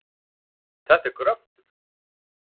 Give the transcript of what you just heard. Þetta er gröftur.